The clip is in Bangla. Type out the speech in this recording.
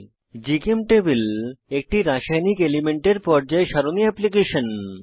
জিচেমটেবল একটি রাসায়নিক এলিমেন্টের পর্যায় সারণী এপ্লিকেশন